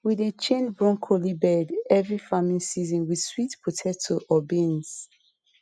we dey change broccoli bed every farming season with sweet potato or beans